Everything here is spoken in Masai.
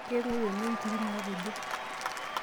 Keng'ou ene nkiri naapejo.